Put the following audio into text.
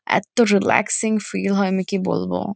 এত্ত relaxing feel হয় আমি কি বলবো।